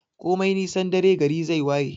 Komai nisan dare gari zai waye.